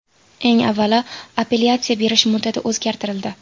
Eng avvalo, apellyatsiya berish muddati o‘zgartirildi.